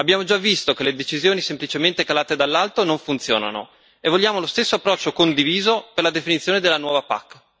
Abbiamo già visto che le decisioni semplicemente calate dall'alto non funzionano, e vogliamo lo stesso approccio condiviso per la definizione della nuova PAC.